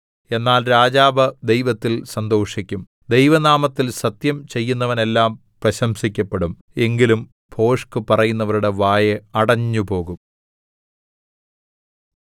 എന്നാൽ രാജാവ് ദൈവത്തിൽ സന്തോഷിക്കും ദൈവനാമത്തിൽ സത്യം ചെയ്യുന്നവനെല്ലാം പ്രശംസിക്കപ്പെടും എങ്കിലും ഭോഷ്ക് പറയുന്നവരുടെ വായ് അടഞ്ഞുപോകും